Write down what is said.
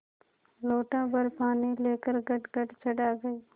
लोटाभर पानी लेकर गटगट चढ़ा गई